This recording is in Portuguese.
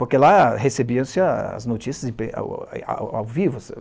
Porque lá recebiam-se as notícias ao vivo.